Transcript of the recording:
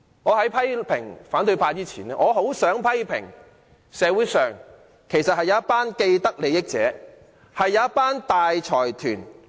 在批評反對派之前，我想先批評社會上一群既得利益者。